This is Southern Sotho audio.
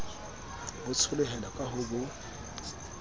bo tsholohela ka ho bo